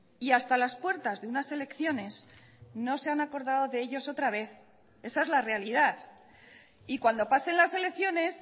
y hasta las puertas de unas elecciones no se han acordado de ellos otra vez esa es la realidad y cuando pasen las elecciones